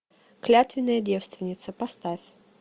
клятвенная девственница поставь